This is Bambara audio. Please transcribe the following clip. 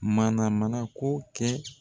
Mana mana ko kɛ.